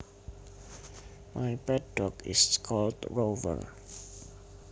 My pet dog is called Rover